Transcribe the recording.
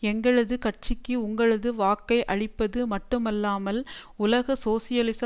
எங்களது கட்சிக்கு உங்களது வாக்கை அளிப்பது மட்டும்ல்லாமல் உலக சோசியலிச